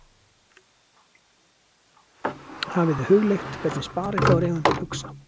Hafið þið hugleitt hvernig sparifjáreigendur hugsa?